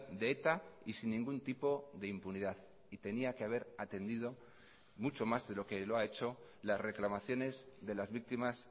de eta y sin ningún tipo de impunidad y tenía que haber atendido mucho más de lo que lo ha hecho las reclamaciones de las víctimas